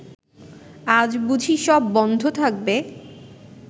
আজ বুঝি সব বন্ধ থাকবে